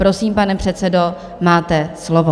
Prosím, pane předsedo, máte slovo.